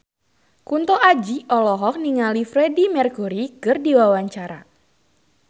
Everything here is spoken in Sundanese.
Kunto Aji olohok ningali Freedie Mercury keur diwawancara